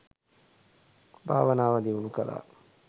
භාවනාව දියුණු කළා.